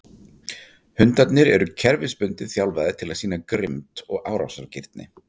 Hundarnir eru kerfisbundið þjálfaðir til að sýna grimmd og árásargirni.